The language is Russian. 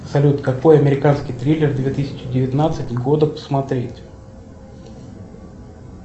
салют какой американский триллер две тысячи девятнадцать года посмотреть